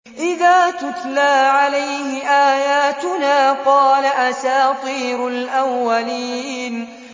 إِذَا تُتْلَىٰ عَلَيْهِ آيَاتُنَا قَالَ أَسَاطِيرُ الْأَوَّلِينَ